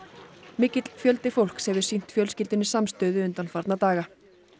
mikill fjöldi fólks hefur sýnt fjölskyldunni samstöðu undanfarna daga